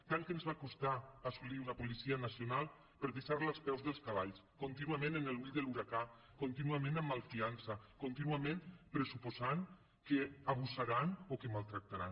tant que ens va costar assolir una policia nacional per deixar·la als peus dels cabals contínuament en l’ull de l’huracà contínuament amb malfiança contínuament pressuposant que abusaran o que maltractaran